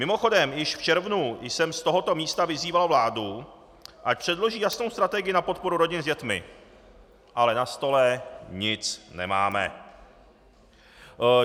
Mimochodem, již v červnu jsem z tohoto místa vyzýval vládu, ať předloží jasnou strategii na podporu rodin s dětmi, ale na stole nic nemáme.